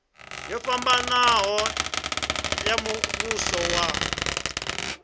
yo fhambanaho ya muvhuso wa